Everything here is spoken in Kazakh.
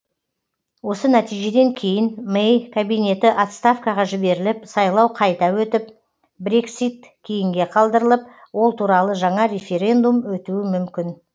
осы нәтижеден кейін мэй кабинеті отставкаға жіберіліп сайлау қайта өтіп брексит кейінге қалдырылып ол туралы жаңа референдум өтуі мүмкін